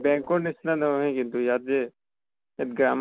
bank নিছিনা নহয় কিন্তু ইয়াত যে তাত